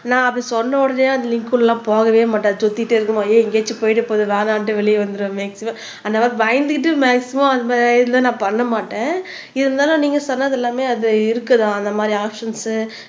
நான் அப்படி சொன்ன உடனே அந்த லிங்க் உள்ள எல்லாம் போகவே மாட்டேன் சுத்திட்டே இருக்குமா ஏய் எங்கேயாச்சும் போயிட போது வேணான்ட்டு வெளிய வந்துடுவேன் மேக்சிமம் அந்த மாதிரி பயந்துகிட்டு மேக்சிமம் அந்த இதுல நான் பண்ண மாட்டேன் இருந்தாலும் நீங்க சொன்னது எல்லாமே அது இருக்குதான் அந்த மாதிரி ஆப்ஷன்ஸ்